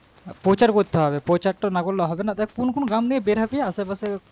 প্রচার করতে হবে প্রচার তো না করলে হবে না দেখ কোন কোন গ্রাম দিয়ে বেরহবি আশেপাশে